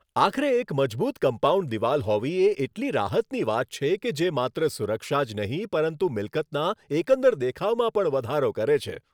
આખરે એક મજબૂત કમ્પાઉન્ડ દિવાલ હોવી એ એટલી રાહતની વાત છે કે જે માત્ર સુરક્ષા જ નહીં પરંતુ મિલકતના એકંદર દેખાવમાં પણ વધારો કરે છે.